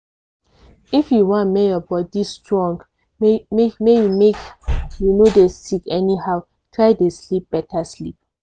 if you want make your body strong make you make you no dey sick anyhow try dey sleep beta sleep.